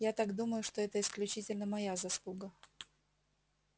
я так думаю что это исключительно моя заслуга